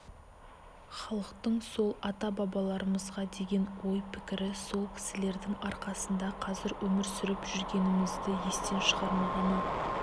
халықтың сол ата-бабаларымызға деген ойы пікірі сол кісілердің арқасында қазір өмір сүріп жүргенімізді естен шығармағаны